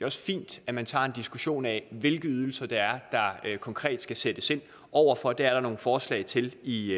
også fint at man tager en diskussion af hvilke ydelser det er der konkret skal sættes ind over for det er der nogle forslag til i